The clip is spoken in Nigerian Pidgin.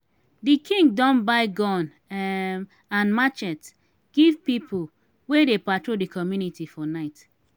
di king don buy gun um and matchet give pipu wey dey patrol di community for night.